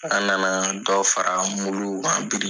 An na na dɔ fara kan bi.